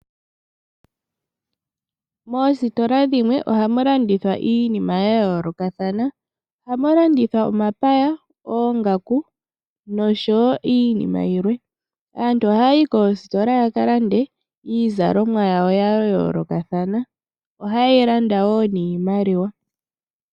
Moositola dhimwe ohamu landithwa iinima ya yoolokathana, ohamu landithwa, omapaya, oongaku nosho iinima yilwe. Aantu ohaya yi koositola ya ka lande iizalomwa yawo ya yoolokathana, ohaye yi landa wo niimaliwa.